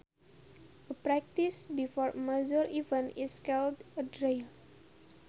A practice before a major event is called a drill